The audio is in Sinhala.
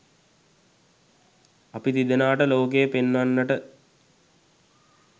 අප තිදෙනාට ලෝකය පෙන්වන්නට